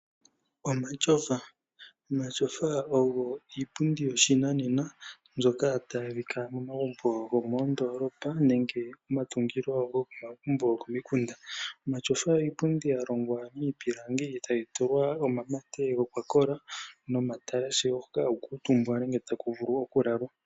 Omatyofa ogo iipundi yoshinanena mbyoka tayi adhika momagumbo gomoondolopa nenge momatungilo gomagumbo gokomikunda. Omatyofa iipundi ya longwa miipilangi e tayi tulwa omamate gokwakola nomatalashe hoka haku kuutumbwa nenge taku vulu oku lala.